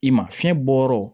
I ma fiɲɛ bɔ yɔrɔ